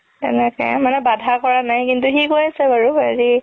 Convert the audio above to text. তেনেকে মানে বাধা কৰা নাই কিন্তু সি কৈ আছে বাৰু হেৰি